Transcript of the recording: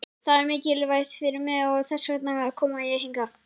Það er mikilvægt fyrir mig og þess vegna kom ég hingað.